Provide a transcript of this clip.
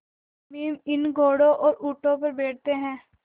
सम्मी इन घोड़ों और ऊँटों पर बैठते हैं